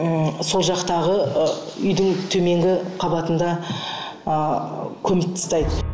ммм сол жақтағы ы үйдің төменгі қабатында ы көміп тастайды